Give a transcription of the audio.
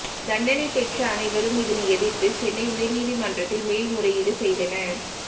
தண்டனை பெற்ற அனைவரும் இதனை எதிர்த்து சென்னை உயர் நீதிமன்றத்தில் மேல்முறையீடு செய்தனர்